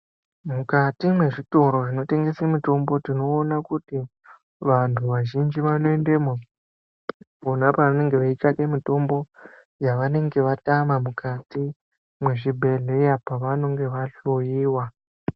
Mukati mwezvitoro zvinotengese mutombo tinoona kuti vantu vazhinji vanoendemo pona pavanenge veitsvake mitombo yavanenge vatama mukati mwezvibhehleya pavanenge vahloyiwa.